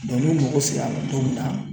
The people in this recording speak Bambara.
n'u mago sera a ma don min na